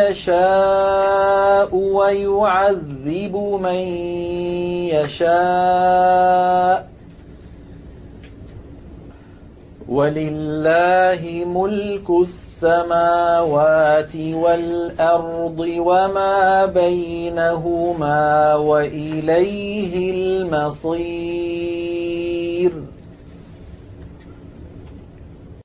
يَشَاءُ وَيُعَذِّبُ مَن يَشَاءُ ۚ وَلِلَّهِ مُلْكُ السَّمَاوَاتِ وَالْأَرْضِ وَمَا بَيْنَهُمَا ۖ وَإِلَيْهِ الْمَصِيرُ